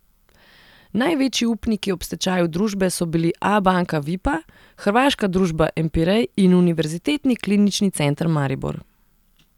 Največji upniki ob stečaju družbe so bili Abanka Vipa, hrvaška družba Empirej in Univerzitetni klinični center Maribor.